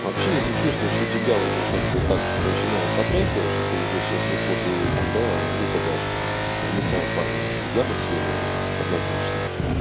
вообще если чувствуешь что тебя уже как бы так начинает потряхивать что ты уже сейчас вот вот и там да в ухо дашь не знаю парни я бы съёбывал однозначно